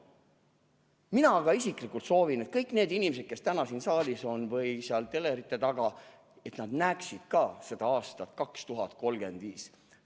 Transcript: Mina aga isiklikult soovin, et kõik need inimesed, kes on täna siin saalis või telerite taga, näeksid ka aastat 2035.